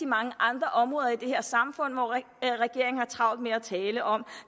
mange andre områder i det her samfund hvor regeringen har travlt med at tale om at